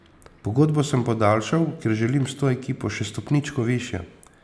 Pogodbo sem podaljšal, ker želim s to ekipo še stopničko višje.